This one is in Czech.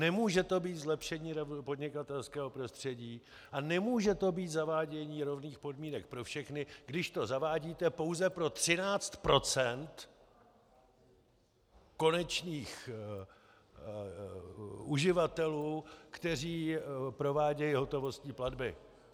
Nemůže to být zlepšení podnikatelského prostředí a nemůže to být zavádění rovných podmínek pro všechny, když to zavádíte pouze pro 13 % konečných uživatelů, kteří provádějí hotovostní platby!